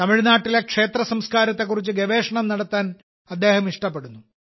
തമിഴ്നാട്ടിലെ ക്ഷേത്രസംസ്കാരത്തെക്കുറിച്ച് ഗവേഷണം നടത്താൻ അദ്ദേഹം ഇഷ്ടപ്പെടുന്നു